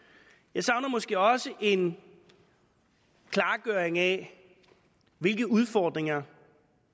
jeg savner måske også en klargøring af hvilke udfordringer